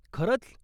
खरंच?